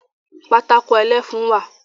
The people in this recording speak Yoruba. Pátákó ẹlẹ́fun wà